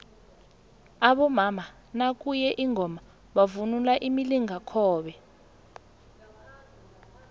abomama nakuye ingoma bavunula imilingakobe